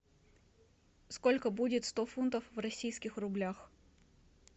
сколько будет сто фунтов в российских рублях